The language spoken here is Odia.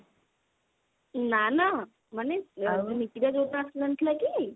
ନା ନା ମାନେ ନିକିତା ଯଉଦିନ ଆସିନଥିଲା କି